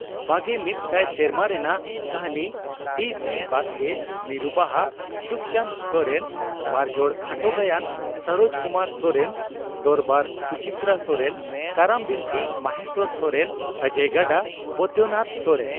ᱵᱟᱜᱮ ᱢᱤᱫ ᱥᱟᱭ ᱥᱮᱨᱢᱟ ᱨᱮᱱᱟᱜ ᱠᱟᱹᱦᱱᱤ (ᱴᱤᱹᱥᱤᱹ ᱵᱟᱥᱠᱮ)ᱢᱤᱨᱩ ᱵᱟᱦᱟ (ᱥᱩᱠᱪᱟᱸᱫᱽ ᱥᱚᱨᱮᱱ),ᱵᱟᱨᱡᱚᱲ ᱠᱷᱟᱴᱚ ᱜᱟᱭᱟᱱ (ᱥᱚᱨᱚᱡᱽ ᱠᱩᱢᱟᱨ ᱥᱚᱨᱮᱱ),ᱫᱚᱨᱵᱟᱨ (ᱥᱩᱪᱤᱛᱨᱟ ᱥᱚᱨᱮᱱ ),ᱠᱟᱨᱟᱢ ᱵᱤᱱᱛᱤ (ᱢᱚᱦᱮᱥᱚᱨ ᱥᱚᱨᱮᱱ)ᱚᱡᱚᱭ ᱜᱟᱰᱟ (ᱵᱳᱭᱫᱳᱱᱟᱛᱷ ᱥᱚᱨᱮᱱ)